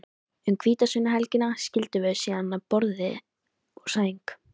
Um hvítasunnuhelgina skildum við síðan að borði og sæng.